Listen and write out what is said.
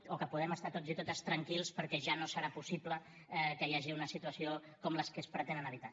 o que podem estar tots i totes tranquils perquè ja no serà possible que hi hagi una situació com les que es pretenen evitar